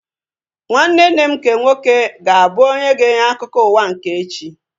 Nwanne nne m nke nwoke ga-abụ onye ga-enye akụkọ ụwa nke echi